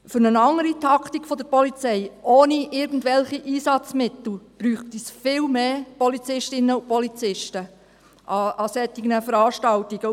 Für eine andere Taktik der Polizei, ohne irgendwelche Einsatzmittel, bräuchte es viel mehr Polizistinnen und Polizisten an solchen Veranstaltungen.